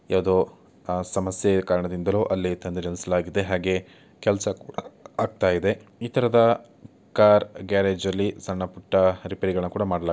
ಯಾವುದೋ ಸಮಸ್ಯೆ ಕಾರಣದಿಂಧಲೋ ಅಲ್ಲಿ ತಂದು ನಿಲ್ಲಿಸಿದ್ದಾರೆ ಹಾಗೆ ಕೆಲಸ ಕೂಢ ಆಗುತ್ತಾ ಇದೆ ಈ ತರಹದ ಕಾರ್‌ ಗ್ಯಾರೇಜ್‌ನಲ್ಲಿ ಸಣ್ಣ ಪುಟ್ಟ ರಿಪೇರಿಗಳನ್ನು ಕೂಡ ಮಾಡಲಾಗುತ್ತದೆ.